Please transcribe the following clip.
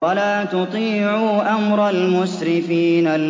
وَلَا تُطِيعُوا أَمْرَ الْمُسْرِفِينَ